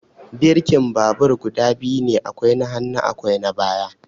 Birkin babur guda biyu ne, akwai na hannu akwai na baya.